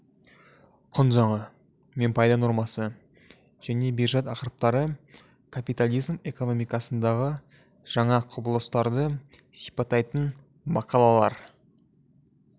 құн заңы мен пайда нормасы және биржат ақырыптары каитализм экономикасындағы жаңа құбылыстарды сипаттайтын мақалалар